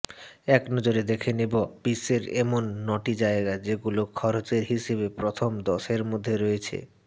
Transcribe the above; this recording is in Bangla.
একনজরে দেখে নেব বিশ্বের এমন নটি জায়গা যেগুলো খরচের হিসেবে প্রথম দশের মধ্যে রয়েছে